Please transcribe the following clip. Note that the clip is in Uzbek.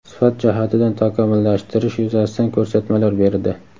sifat jihatidan takomillashtirish yuzasidan ko‘rsatmalar berdi.